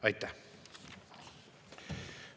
Aitäh!